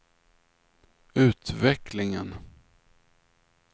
utvecklingen